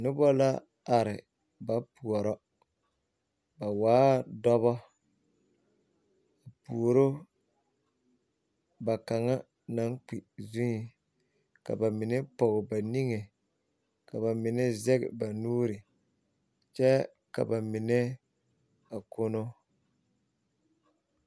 Noba la are ba poorɔ ba waa dɔbɔ puoru ba kaŋa zeŋ ka ba mine pɔge ba niŋe ka ba mine zeŋ ba nuuri kyɛ ka ba mine a kono.